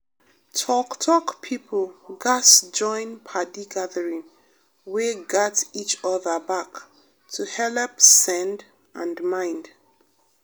talk-talk people gatz join padi gathering wey gat each other back to helep send and mind.